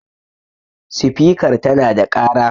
spikar tana da kara?